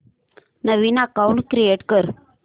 नवीन account create कर